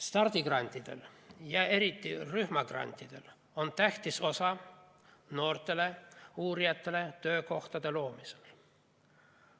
Stardigrantidel ja eriti rühmagrantidel on tähtis osa noortele uurijatele töökohtade loomisel.